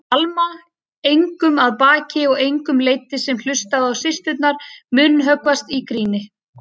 Alma engum að baki og engum leiddist sem hlustaði á systurnar munnhöggvast í gríni.